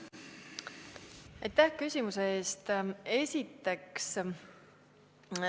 Aitäh küsimuste eest!